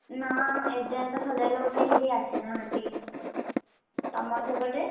ନା ଏଯାଏଁତ ସଜାଡିବାକୁ କେହିବି ଆସିନାହାନ୍ତି, ତମର ସେପଟେ?